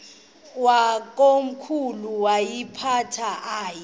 yakomkhulu woyiphatha aye